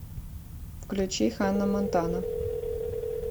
включи ханна монтана